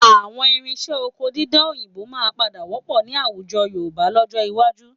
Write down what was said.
Àwọn irinṣẹ́ oko dídá òyìnbó máa padà wọ́pọ̀ ní àwùjọ Yorùbá lọ́jọ́ iwájú